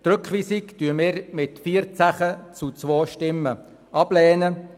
Die Rückweisung lehnten wir mit 14 zu 2 Stimmen ab.